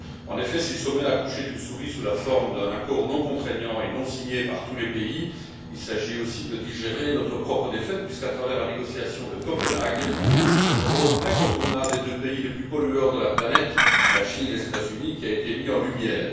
En effet, si le Sommet a accouché d'une souris sous la forme d'un accord non contraignant et non signé par tous les pays, il s'agit aussi de digérer notre propre défaite puisqu'à travers la négociation de Copenhague, c'est le rôle incontournable des deux pays les plus pollueurs de la planète, la Chine et les États Unis, qui a été mis en lumière.